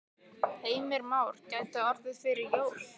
Heimir Már: Gæti orðið fyrir jól?